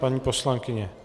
Paní poslankyně.